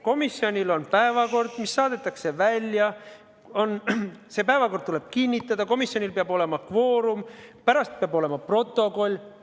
Komisjonil on päevakord, mis saadetakse välja, see päevakord tuleb kinnitada, komisjonil peab olema kvoorum, pärast peab olema koostatud protokoll.